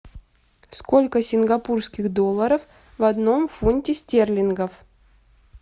сколько сингапурских долларов в одном фунте стерлингов